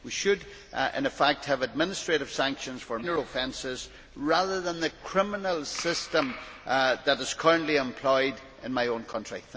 We should, in fact, have administrative sanctions for minor offences rather than the criminal system that is currently employed in my own country.